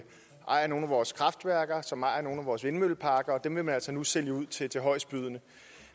ejer nogle af vores kraftværker og som ejer nogle af vores vindmølleparker og dem vil man altså nu sælge ud til til højestbydende